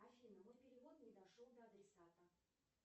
афина мой перевод не дошел до адресата